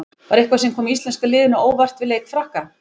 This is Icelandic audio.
Var eitthvað sem kom íslenska liðinu á óvart við leik Frakka?